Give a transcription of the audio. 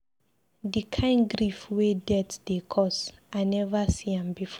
Di kain grief wey death dey cause, I neva see am before.